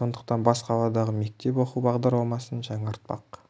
сондықтан бас қаладағы мектеп оқу бағдарламасын жаңартпақ